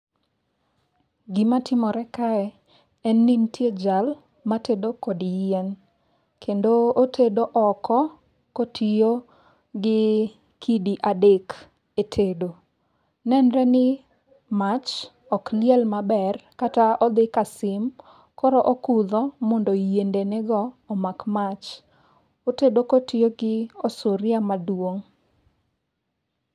Gimatimore kae en ni nitie jal matedo kod yien. Kendo otedo oko kotiyo gi kidi adek e tedo. Nenre ni mach ok liel maber kata odhi ka sim, koro okudho mondo yiende nego omak mach. Otedo kotiyo gi osuria maduong'.